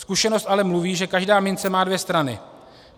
Zkušenost ale mluví, že každá mince má dvě strany.